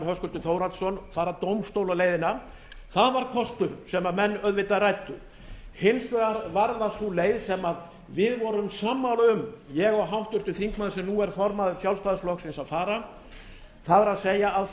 höskuldur þórhallsson fara dómstólaleiðina það var kostur sem menn auðvitað ræddu hins vegar varð það sú leið sem við vorum sammála um ég og háttvirtur þingmaður sem nú er formaður sjálfstæðisflokksins að fara það er að